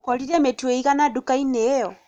ũkorire mĩtu ĩigana nduka-inĩ ĩyo